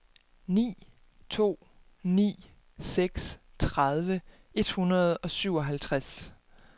ni to ni seks tredive et hundrede og syvoghalvtreds